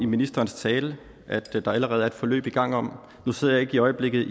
ministerens tale at der allerede er et forløb i gang om nu sidder jeg i øjeblikket